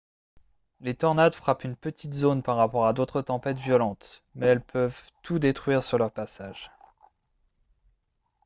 les tornades frappent une petite zone par rapport à d'autres tempêtes violentes mais elles peuvent tout détruire sur leur passage